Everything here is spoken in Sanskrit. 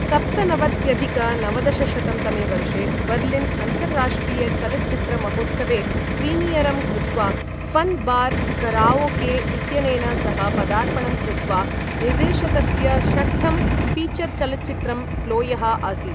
सप्तनवत्यधिक नवदशशतं तमे वर्षे बर्लिन अन्तर्राष्ट्रीयचलच्चित्रमहोत्सवे प्रीमियरं कृत्वा फन् बार कराओके इत्यनेन सह पदार्पणं कृत्वा निर्देशकस्य षष्ठं फीचरचलच्चित्रं प्लोयः आसित् ।